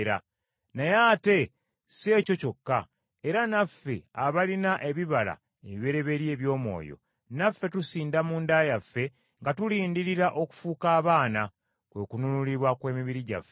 Naye ate si ekyo kyokka, era naffe abalina ebibala ebibereberye eby’Omwoyo, naffe tusinda munda yaffe nga tulindirira okufuuka abaana, kwe kununulibwa kw’emibiri gyaffe.